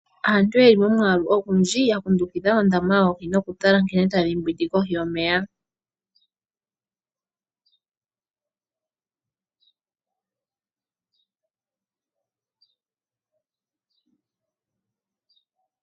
Aantu yeli momwaalu ogundhi ya kundukidha ondama yoohi noku tala nkene tadhi mbwindi kohi yomeya.